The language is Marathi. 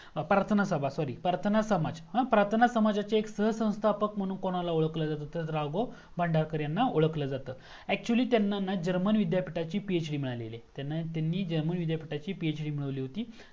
परतणा सभा SORRY परतणा समाज परतणा समजाचे एक संस्थापक म्हणून कोणाला ओळखला जात तर राघव भांडारकर यांना ओळखल जात actually त्यांना हाय ना जर्मन विध्यपीठाची PhD मिळालेली आहे त्यांनी जर्मन विद्यापीठाची PhD मिळवलेली होती